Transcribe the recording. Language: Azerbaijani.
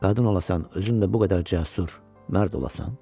Qadın olasan, özün də bu qədər cəsur, mərd olasan.